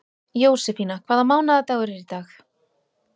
Jósefína, hvaða mánaðardagur er í dag?